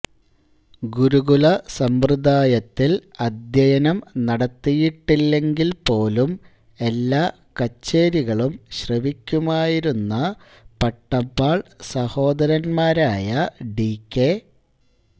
ഗുരുകുലസമ്പ്രദായത്തിൽ അദ്ധ്യയനം നടത്തിയിട്ടില്ലെങ്കിൽപോലും എല്ലാ കച്ചേരികളും ശ്രവിയ്ക്കുമായിരുന്ന പട്ടമ്മാൾ സഹോദരന്മാരായ ഡി കെ